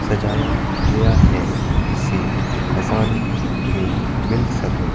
सजाया गया है जिसे आसानी में मिल सके।